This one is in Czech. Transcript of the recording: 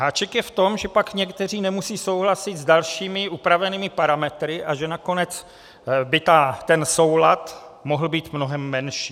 Háček je v tom, že pak někteří nemusí souhlasit s dalšími upravenými parametry a že nakonec by ten soulad mohl být mnohem menší.